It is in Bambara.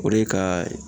O de ka